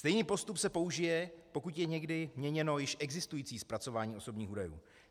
Stejný postup se použije, pokud je někdy měněno již existující zpracování osobních údajů.